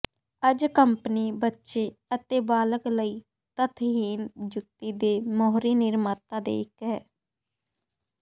ਅੱਜ ਕੰਪਨੀ ਬੱਚੇ ਅਤੇ ਬਾਲਗ ਲਈ ਤਥਹੀਣ ਜੁੱਤੀ ਦੇ ਮੋਹਰੀ ਨਿਰਮਾਤਾ ਦੇ ਇੱਕ ਹੈ